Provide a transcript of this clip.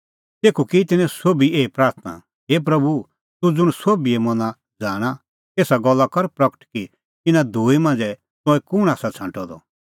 तेखअ की तिन्नैं सोभी एही प्राथणां हे प्रभू तूह ज़ुंण सोभिए मना ज़ाणा एसा गल्ला कर प्रगट कि इना दूई मांझ़ै तंऐं कुंण आसा छ़ांटअ द